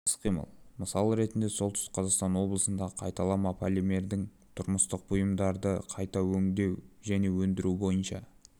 іс-қимыл мысалы ретінде солтүстік қазақстан облысындағы қайталама полимердің тұрмыстық бұйымдарды қайта өңдеу және өндіру бойынша